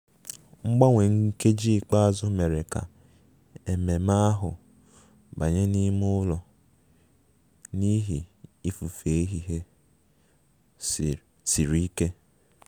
Mgbanwe nkeji ikpeazụ mere ka ememe ahụ banye n'ime ụlọ n'ihi ifufe ehihie siri ike